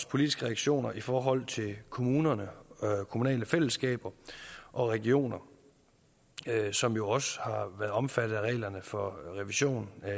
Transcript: politiske reaktioner i forhold til kommuner kommunale fællesskaber og regioner som jo også har været omfattet af reglerne for revision af